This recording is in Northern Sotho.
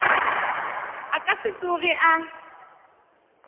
a ka se tsoge a